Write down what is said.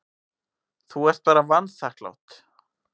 Þú ert bara vanþakklát.